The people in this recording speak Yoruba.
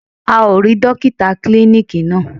A ò rí Dókítà klíníkì náà.